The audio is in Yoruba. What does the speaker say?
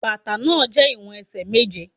Bàtà náà jẹ́ ìwọ̀n ẹsẹ̀ méje.